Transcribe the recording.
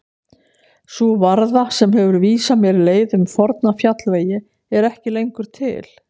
Sú varða sem hefur vísað mér leið um forna fjallvegi er ekki lengur til.